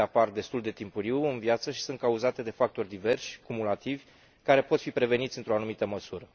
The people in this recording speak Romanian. Acestea apar destul de timpuriu în viață și sunt cauzate de factori diverși, cumulativi, care pot fi preveniți într o anumită măsură.